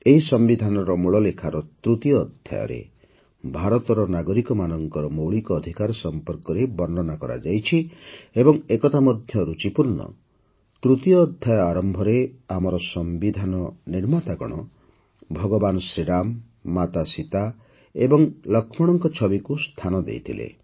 ଏହି ସମ୍ବିଧାନର ମୂଳ ଲେଖାର ତୃତୀୟ ଅଧ୍ୟାୟରେ ଭାରତର ନାଗରିକମାନଙ୍କର ମୌଳିକ ଅଧିକାର ସମ୍ପର୍କରେ ବର୍ଣ୍ଣନା କରାଯାଇଛି ଏବଂ ଏକଥା ମଧ୍ୟ ଋଚିପୂର୍ଣ୍ଣ ଯେ ତୃତୀୟ ଅଧ୍ୟାୟ ଆରମ୍ଭରେ ଆମର ସମ୍ବିଧାନ ନିର୍ମାତାଗଣ ଭଗବାନ ରାମ ମାତା ସୀତା ଏବଂ ଲକ୍ଷ୍ମଣଙ୍କ ଛବିକୁ ସ୍ଥାନ ଦେଇଥିଲେ